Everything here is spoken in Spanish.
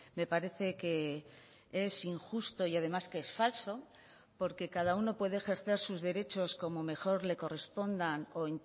me parece que es injusto y además que es falso porque cada uno puede ejercer sus derechos como mejor le correspondan o